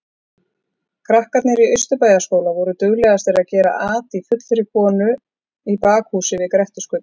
Krakkarnir í Austurbæjarskóla voru duglegastir að gera at í fullri konu í bakhúsi við Grettisgötu.